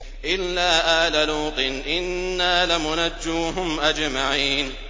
إِلَّا آلَ لُوطٍ إِنَّا لَمُنَجُّوهُمْ أَجْمَعِينَ